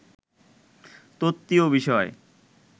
তত্ত্বীয় বিষয়